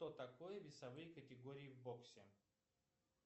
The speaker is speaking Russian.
что такое весовые категории в боксе